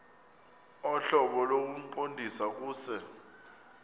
ohlobo lokuqondisa kuse